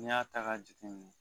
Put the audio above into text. Ni y'a ta ka jatenimɛ